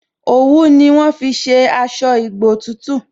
Òwú ni wọ́n fi ṣe aṣọ ìgbotútù